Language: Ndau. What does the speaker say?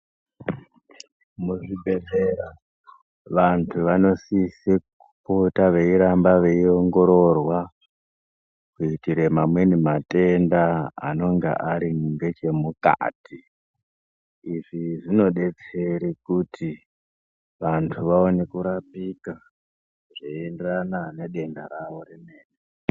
Muzvibhehlera, vantu vanosise kupota veiramba veiongororwa, kuitire mamweni matenda anonga ari ngechemukati. Izvi zvinodetsere kuti vantu vaone kurapika zveienderana nedenda rawo remene.